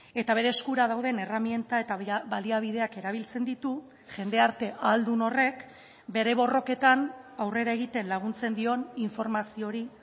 eta bere eskura dauden erreminta eta baliabideak erabiltzen ditu jendarte ahaldun horrek bere borroketan aurrera egiten laguntzen dion informazio hori